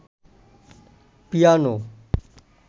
piano